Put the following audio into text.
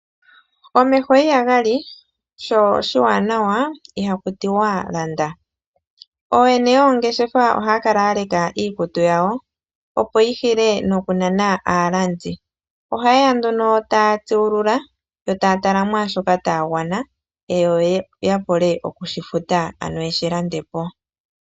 Omeho ihaga li sho shiwanawa ihaku tiwa landa, ooyene yoongeshefa ohaya kala ya leka iikutu yawo opo yi hile no ku nana aalandi. Ohaye ya nduno taya tsuulula yo taya tala mwaashoka taya gwana yo ya vule okushifuta ano ye shi lande po.